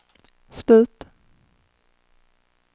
slut